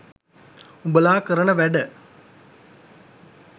උඹලා කරන වැඩ